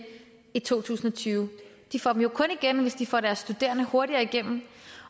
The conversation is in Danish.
i to tusind og tyve de får dem kun igen hvis de får deres studerende hurtigere igennem